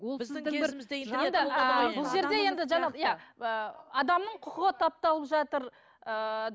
иә ыыы адамның құқығы тапталып жатыр ыыы